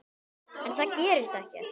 En það gerist ekkert.